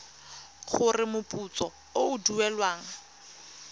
gore moputso o o duelwang